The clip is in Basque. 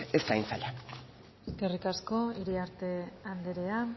ez da hain zaila eskerrik asko iriartea anderea